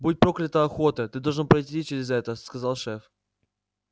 будь проклята охота ты должен пройти через это сказал шеф